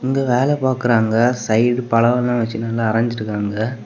இங்க வேல பாக்குறாங்க சைடு பழம் எல்லா வச்சுட்டு நல்லா அரஞ்சு இருக்காங்க.